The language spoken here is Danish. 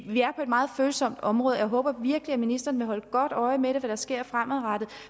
meget følsomt område og jeg håber virkelig at ministeren vil holde godt øje med hvad der sker fremadrettet